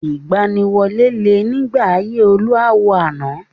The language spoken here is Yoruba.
Ìgbaniwọlé le nígbà ayé olú àwo àná.